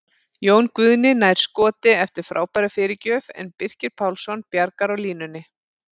Jón Guðni nær skoti eftir frábæra fyrirgjöf en Birkir Pálsson bjargar á línunni!